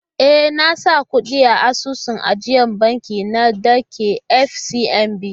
E, na saka kuɗi a asusun ajiyar banki na da ke FCMB.